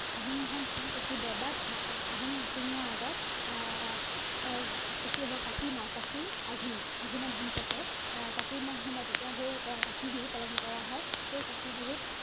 আহিন মাহত ধান পকি বৰ্বাদ ধান আহিন নোসোমোৱাৰ আগত আহ তেতিয়া হব কাতি মাহ কাতি আঘোন, আঘোনত ধান পকে আহ কাতি মাহ সোমায় তেতিয়া সেই কাতি বিহু পালন কৰা হয় সেই কাতি বিহুত